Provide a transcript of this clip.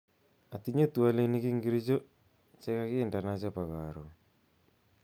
Atinye twolinik ingircho chekakindena chebo karon